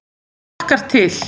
Það hlakkar til.